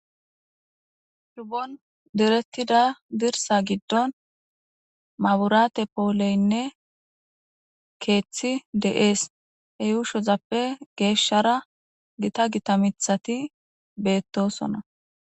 Shubon diretida dirsa gidon maburate poleynne keethi de'es he yushozappe geshara Gita gita mithati beetosona.